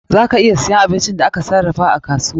Za ka iya siyan abincin da aka sarrafa a kasuwa.